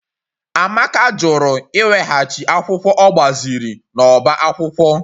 Amaka jụrụ iweghachi akwụkwọ ọ gbaziri n'ọbá akwụkwọ